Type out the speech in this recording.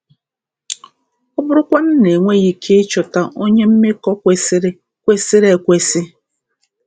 Ọ bụrụkwanụ na e nweghị ike ịchọta onye mmekọ kwesịrị kwesịrị ekwesị?